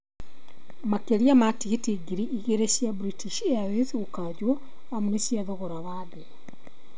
Makĩria ma tigiti ngiri igĩrĩ cia British Airways gũkanjwo amu nĩ cia thogora wa thĩ